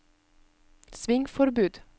svingforbud